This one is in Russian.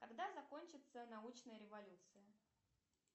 когда закончится научная революция